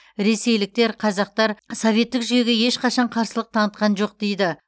ресейліктер қазақтар советтік жүйеге ешқашан қарсылық танытқан жоқ дейді